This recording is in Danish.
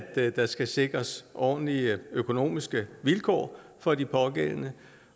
der skal sikres ordentlige økonomiske vilkår for de pågældende